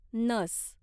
नस